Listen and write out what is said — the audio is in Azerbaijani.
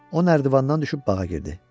O nərdivandan düşüb bağa girdi.